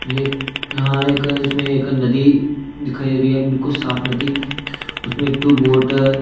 ये यहां एक इसमें एक नदी दिखाई दे रही है बिल्कुल साफ नदी उसमें टू बोट ।